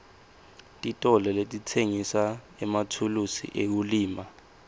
titolo letitsengisa emathulusi ekulima